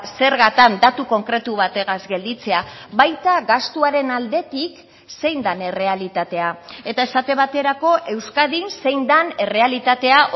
zergatan datu konkretu bategaz gelditzea baita gastuaren aldetik zein den errealitatea eta esate baterako euskadin zein den errealitatea